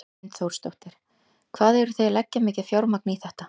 Hrund Þórsdóttir: Hvað eru þið að leggja mikið fjármagn í þetta?